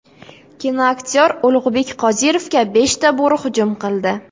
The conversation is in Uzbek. Kinoaktyor Ulug‘bek Qodirovga beshta bo‘ri hujum qildi.